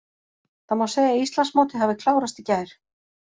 Það má segja að Íslandsmótið hafi klárast í gær.